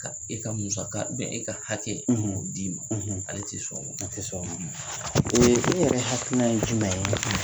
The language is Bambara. Ka e ka musaka e ka hakɛ k'o d'i ma ale ti sɔn o ma, a ti sɔn o ma, e yɛrɛ hakilina ye jumɛn ?